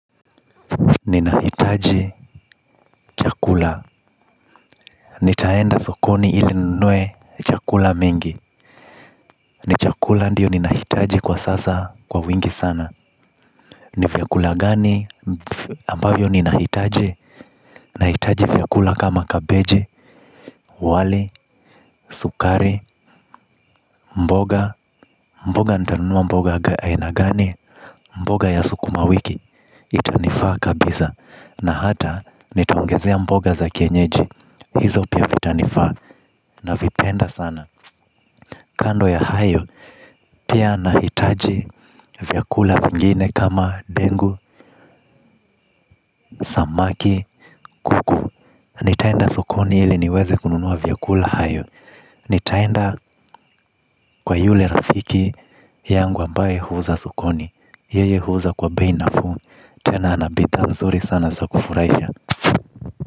Ninahitaji chakula. Nitaenda sokoni ili ninunue chakula mingi. Ni chakula ndiyo ninahitaji kwa sasa kwa wingi sana. Ni vyakula gani ambavyo ninahitaji. Nahitaji vyakula kama kabeji, wali, sukari, mboga. Mboga nitanunua mboga aina gani. Mboga ya sukuma wiki. Itanifaa kabisa. Na hata nitaongezea mboga za kienyeji. Hizo pia vitanifaa na vipenda sana. Kando ya hayo, pia nahitaji vyakula vingine kama ndengu, samaki, kuku. Nitaenda sokoni ili niweze kununua vyakula hayo. Nitaenda kwa yule rafiki yangu ambaye huuza sokoni. Yeye huuza kwa bei nafuu. Tena ana bidhaa mzuri sana za kufurahisha.